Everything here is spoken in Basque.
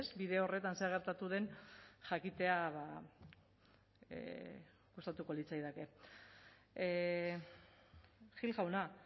bide horretan zer gertatu den jakitea gustatuko litzaidake gil jauna